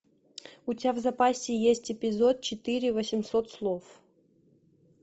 у тебя в запасе есть эпизод четыре восемьсот слов